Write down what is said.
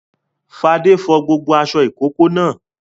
Fadé fọ gbogbo aṣọ ìkókó náà.